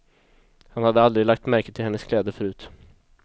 Han hade aldrig lagt märke till hennes kläder förut.